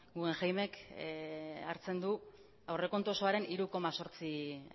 guggenheimek hartzen du aurrekontu osoaren hiru koma zortzi